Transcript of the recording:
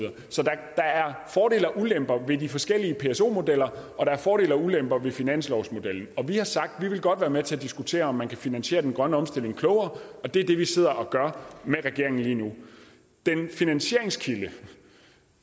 der er fordele og ulemper ved de forskellige pso modeller og der er fordele og ulemper ved finanslovsmodellen vi har sagt at vi godt vil være med til at diskutere om man kan finansiere den grønne omstilling klogere og det er det vi sidder og gør med regeringen lige nu den finansieringskilde